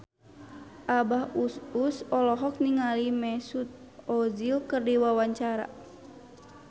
Abah Us Us olohok ningali Mesut Ozil keur diwawancara